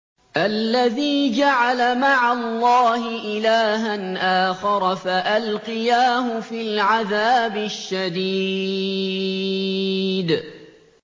الَّذِي جَعَلَ مَعَ اللَّهِ إِلَٰهًا آخَرَ فَأَلْقِيَاهُ فِي الْعَذَابِ الشَّدِيدِ